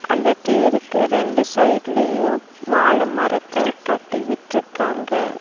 அந்த தேருக்கு ரெண்டு சைடுலியு வாழ மரத்த தட்டி விட்ருக்காங்க.